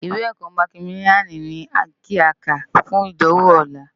Iwé èkò mákimiláni ni ki á ká fún idánwó òlá